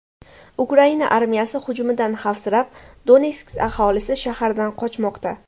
Ukraina armiyasi hujumidan xavfsirab, Donetsk aholisi shahardan qochmoqda.